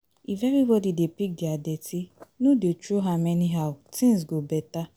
If everybody dey pick dia dirty, no dey throw am anyhow, things go beta